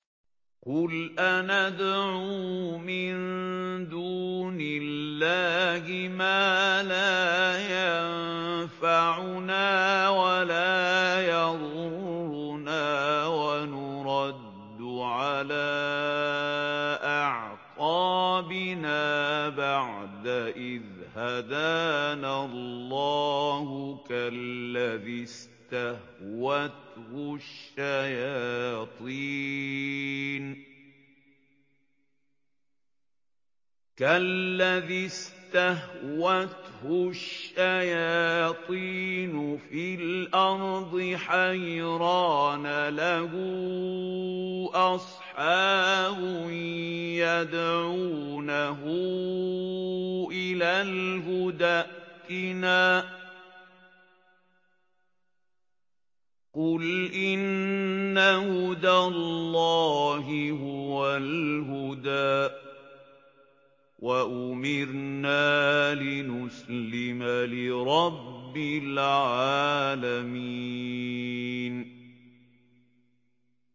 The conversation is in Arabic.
قُلْ أَنَدْعُو مِن دُونِ اللَّهِ مَا لَا يَنفَعُنَا وَلَا يَضُرُّنَا وَنُرَدُّ عَلَىٰ أَعْقَابِنَا بَعْدَ إِذْ هَدَانَا اللَّهُ كَالَّذِي اسْتَهْوَتْهُ الشَّيَاطِينُ فِي الْأَرْضِ حَيْرَانَ لَهُ أَصْحَابٌ يَدْعُونَهُ إِلَى الْهُدَى ائْتِنَا ۗ قُلْ إِنَّ هُدَى اللَّهِ هُوَ الْهُدَىٰ ۖ وَأُمِرْنَا لِنُسْلِمَ لِرَبِّ الْعَالَمِينَ